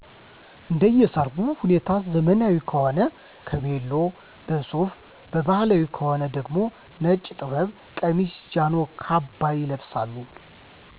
እንደየ ሰርጉ ሁኔታ ዘመናዊ ከሆነ በቬሎ፣ በሱፍ በባህላዊ ከሆነ ደግሞ ነጭ ጥበብ ቀሚስ፣ ጃኖ፣ ካባ ይለበሳሉ።